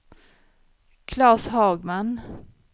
Klas Hagman